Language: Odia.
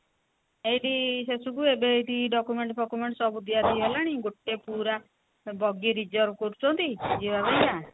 ଏଇଠି ଶେଷକୁ ଏବେ ଏଇଟି document ସବୁ ଦିଆ ଦି ହେଲାଣି ଗୋଟେ ପୁରା ବଗି reserve କରୁଛନ୍ତି ଯିବା ପାଇଁ କା